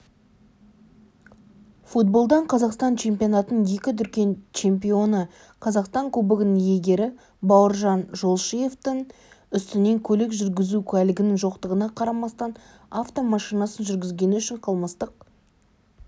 футболдан қазақстан чемпионатының екі дүркін чемпионы қазақстан кубогының иегері бауыржан жолшиевтің үстінен көлік жүргізу куәлігінің жоқтығына қарамастан автомашинасын жүргізгені үшін қылмыстық